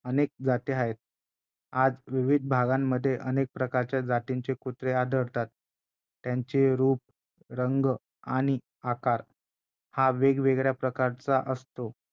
अनेक जाती आहेत आज विविध भागांमध्ये अनेक प्रकारच्या जातींचे कुत्रे आढळतात त्यांचे रूप रंग आणि आकार हा वेगवेगळ्या प्रकारचा असतो